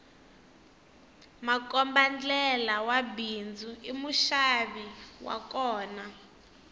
makombandlela wa bindzu i muxavi wa kona